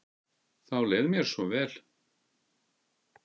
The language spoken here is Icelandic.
Þá leið mér svo vel.